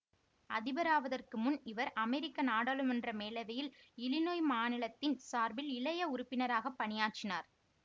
அதிபராவதற்கு முன் இவர் அமெரிக்க நாடாளுமன்ற மேலவையில் இலினொய் மாநிலத்தின் சார்பில் இளைய உறுப்பினராக பணியாற்றினார்